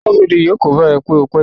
Aṣọ́bọdè yóò kóbá ẹ pé o pẹ́ dé